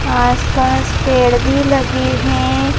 आसपास पेड़ भी लगे हैं।